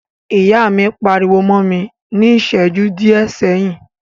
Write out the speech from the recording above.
Ìyá mi pariwo mọ́ mi ní ìṣẹjú díẹ̀ sẹ́yìn.